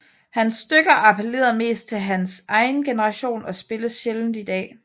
Hans stykker applerede mest til hans egen generation og spilles sjældent i dag